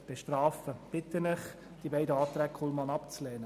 Ich bitte Sie, die beiden Anträge Kullmann abzulehnen.